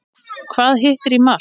Hvað hittir í mark?